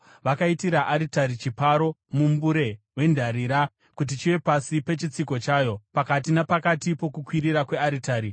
Vakaitira aritari chiparo, mumbure wendarira, kuti chive pasi pechitsiko chayo, pakati napakati pokukwirira kwearitari.